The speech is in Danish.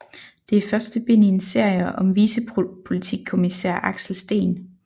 Det er første bind i en serie om vicepolitikommissær Axel Steen